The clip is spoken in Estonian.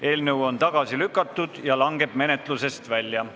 Eelnõu on tagasi lükatud ja langeb menetlusest välja.